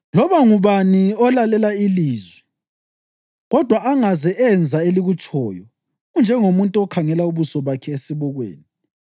Loba ngubani olalela ilizwi kodwa angaze enza elikutshoyo unjengomuntu okhangela ubuso bakhe esibukweni